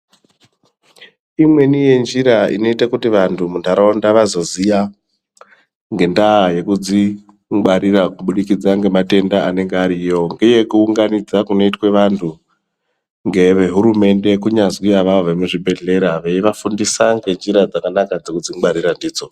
Imweni yenjira inoita kuti vanhu mundaraunda vazoziya ngendaa yekudzingwarira kubudikidza ngematenda anenge ariyo uye kuunganidzwa kunoitwe vanhu ngehurumende kunyazwi avawo vemuzvibhedhlera veivafundisa ngenjira dzakanaka yekudzingwarira ndidzo.